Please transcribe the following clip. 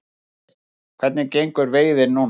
Pálmi: Hvernig gengur veiðin núna?